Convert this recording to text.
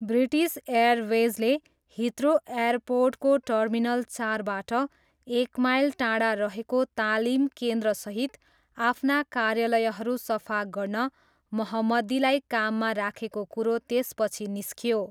British एयरवेजले Heathrow एयरपोर्टको terminal चारबाट एक माइल टाढा रहेको तालिम केन्द्रसहित आफ्ना कार्यालयहरू सफा गर्न मोहम्मदीलाई काममा राखेको कुरो त्यसपछि निस्कियो।